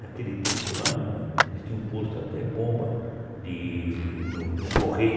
Naquele tempo lá, eles tinham posto até bomba de no no Correio.